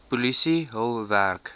polisie hul werk